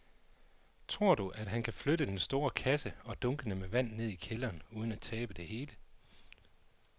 Tror du, at han kan flytte den store kasse og dunkene med vand ned i kælderen uden at tabe det hele?